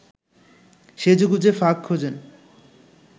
সেজেগুজে ফাঁক খোঁজেন